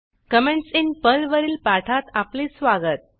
comments in पर्लवरील पाठात आपले स्वागत